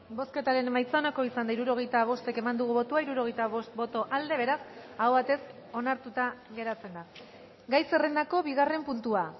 bozketaren emaitza onako izan da hirurogeita bost eman dugu bozka hirurogeita bost boto aldekoa beraz aho batez onartuta geratzen da gai zerrendako bigarren puntua